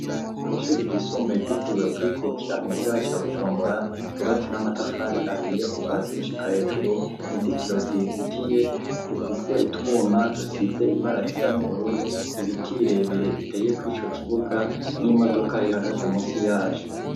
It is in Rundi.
Kw'ishure ryisumbuye gitirwe kurikukira mu gisigara ca Bujumbura cubatse n'amatafari ahiye kuva zigushika hejuru inzitiro zizitiye zifise utwuma dusize ibara risa n'ubururu ibiti birebire biteye ku'ico kibuga n'imodoka ihagaze munsi yacu.